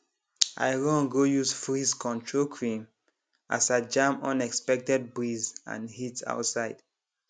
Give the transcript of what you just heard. i run go use frizzcontrol cream as i jam unexpected breeze and heat outside